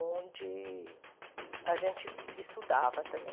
onde a gente estudava também.